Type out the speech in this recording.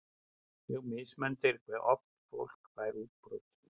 Mjög mismunandi er hve oft fólk fær útbrot.